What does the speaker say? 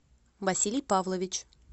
василий павлович